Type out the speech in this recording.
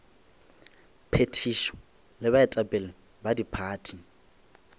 phethišo le baetapele ba diphathi